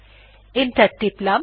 enter টিপলাম